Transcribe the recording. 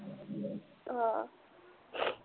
ਹਾਂ